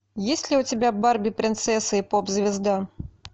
есть ли у тебя барби принцесса и поп звезда